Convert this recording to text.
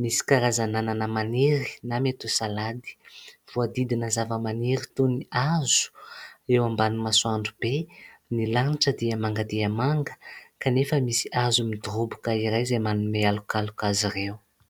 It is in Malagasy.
misy karazana anana maniry na mety ho salady, voadidina zava-maniry toy ny hazo eo ambanin'ny masoandro be, ny lanitra dia manga dia manga kanefa misy azo midoroboka iray izay manome halokaloka azy ireo.